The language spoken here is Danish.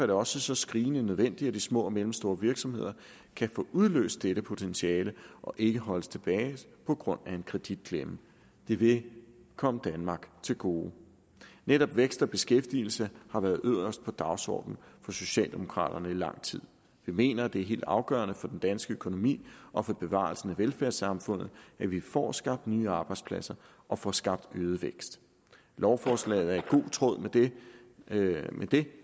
det også så skrigende nødvendigt at de små og mellemstore virksomheder kan få udløst dette potentiale og ikke holdes tilbage på grund af en kreditklemme det vil komme danmark til gode netop vækst og beskæftigelse har været øverst på dagsordenen for socialdemokraterne i lang tid vi mener det er helt afgørende for den danske økonomi og for bevarelsen af velfærdssamfundet at vi får skabt nye arbejdspladser og får skabt øget vækst lovforslaget er i god tråd med det med det